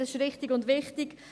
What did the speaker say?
dies ist richtig und wichtig.